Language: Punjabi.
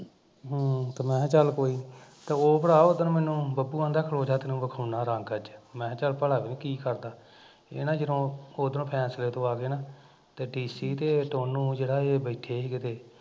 ਹਮ ਤੇ ਮੈਂ ਕਿਹਾ ਚੱਲ ਕੋਈ, ਉਹ ਭਰਾ ਉਦਣ ਮੈਨੂੰ ਪੱਪੂ ਕਹਿੰਦਾ ਖਲੋਜਾ ਤੈਨੂੰ ਵਿਖਾਉਂਦਾ ਰੰਗ ਅੱਜ, ਮੈਂ ਕਿਹਾ ਚੱਲ ਭਲਾ ਵੇਹਦੇ ਕੀ ਕਰਦਾ ਏਹ ਨਾ ਜਦੋਂ ਉਦਰੋਂ ਫੈਸਲੇ ਤੋਂ ਆ ਕੇ ਨਾ ਤੇ ਏਹ ਡੀਸੀ ਤੇ ਟੋਨੁ ਜਿਹੜਾ ਏਹ ਬੈਠੇ ਸੀ ਕਿਤੇ